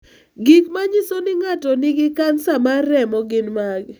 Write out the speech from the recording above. Gik manyiso ni ng'ato nigi kansa mar remo gin mage?